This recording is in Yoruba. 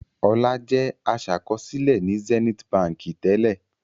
Ọlá jẹ́ aṣàkọsílẹ̀ ní Zenith Báńkì tẹ́lẹ̀.